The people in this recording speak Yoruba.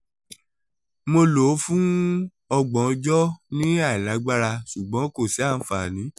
mo lo o fun ọjọ thirty ni ailagbara ṣugbọn ko si anfani